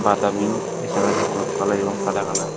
বাদামি হলুদ কালার এবং সাদা কালার ।